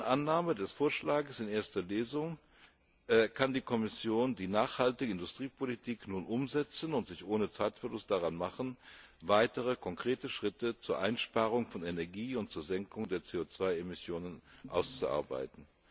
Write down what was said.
Dank der raschen Annahme des Vorschlags in erster Lesung kann die Kommission die nachhaltige Industriepolitik nun umsetzen und sich ohne Zeitverlust daran machen, weitere konkrete Schritte zur Einsparung von Energie und zur Senkung der CO 2 Emissionen auszuarbeiten.